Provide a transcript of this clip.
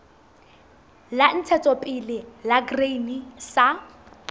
la ntshetsopele la grain sa